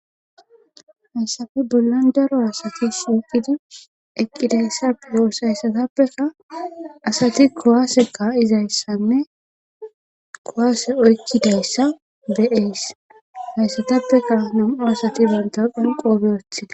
hyssafe bollan daro asati siiqidi eqqidayssa dooss hayssatappeka asati kowaasekka izayssanne kowaase oykkidayssa be7ees hayssatappeka nam7o asati banta qanqoobe oththida